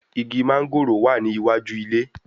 Igi mángòrò wà ní iwájú ilé